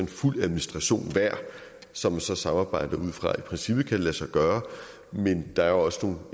fuld administration som man så samarbejder udfra i princippet lade sig gøre men der er jo også